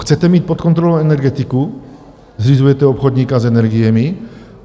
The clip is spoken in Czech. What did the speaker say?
Chcete mít pod kontrolou energetiku, zřizujete obchodníka s energiemi?